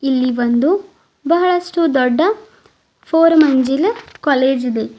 ಇಲ್ಲಿ ಒಂದು ಬಹಳಷ್ಟು ದೊಡ್ಡ ಫೋರ್ ಮಂಜಲ ಕಾಲೇಜಿದೆ.